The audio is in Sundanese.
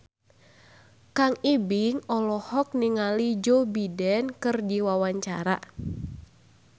Kang Ibing olohok ningali Joe Biden keur diwawancara